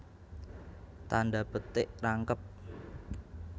Tandha petik rangkep